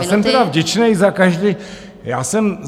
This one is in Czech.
Já jsem tedy vděčný za každý, já jsem...